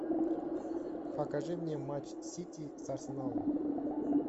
покажи мне матч сити с арсеналом